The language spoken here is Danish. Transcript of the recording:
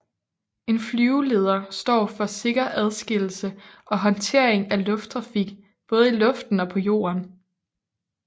En flyveleder står for sikker adskillelse og håndtering af lufttrafik både i luften og på jorden